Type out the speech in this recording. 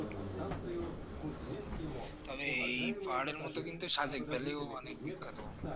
তাহলে এই পাহাড়ের মধ্যে সাদেক ভ্যালি অনেক বিখ্যাত